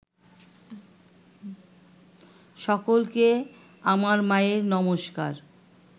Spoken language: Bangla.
সকলকে আমার মায়ের নমস্কার